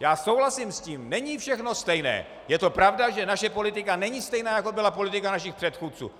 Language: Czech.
já souhlasím s tím, není všechno stejné, je to pravda, že naše politika není stejná, jako byla politika našich předchůdců.